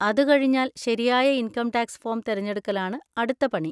അതുകഴിഞ്ഞാൽ ശരിയായ income tax form തെരഞ്ഞെടുക്കലാണ് അടുത്ത പണി.